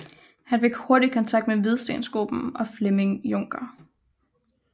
Han fik hurtigt kontakt med Hvidstengruppen og Flemming Juncker